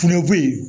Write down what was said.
Kuleboyi